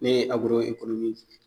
Ne ye